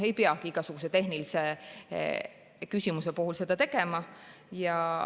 Ei peagi igasuguse tehnilise küsimuse puhul seda tegema.